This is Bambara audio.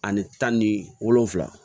Ani tan ni wolonfila